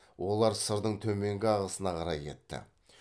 олар сырдың төменгі ағасына қарай кетті